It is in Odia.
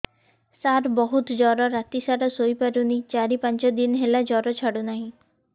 ସାର ବହୁତ ଜର ରାତି ସାରା ଶୋଇପାରୁନି ଚାରି ପାଞ୍ଚ ଦିନ ହେଲା ଜର ଛାଡ଼ୁ ନାହିଁ